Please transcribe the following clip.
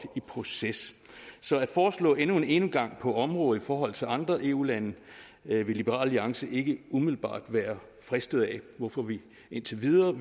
proces så et forslag om endnu en gang på området i forhold til andre eu lande vil liberal alliance ikke umiddelbart være fristet af hvorfor vi indtil videre